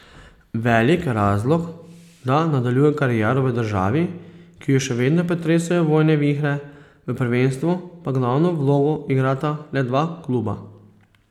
Velik razlog, da nadaljuje kariero v državi, ki jo še vedno pretresajo vojne vihre, v prvenstvu pa glavno vlogo igrata le dva kluba.